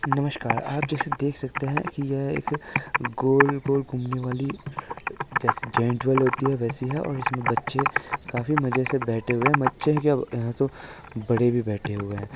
नमस्कार आप जैसे देख सकते है की यह एक गोल गोल घुमनेवाली जैसे-- जॉइंट व्हील होती है वैसे ही है और इसमे बच्चे काफी मजे से बैठे हुए है बच्चे क्या यहा तो बड़े भी बैठे हुए है।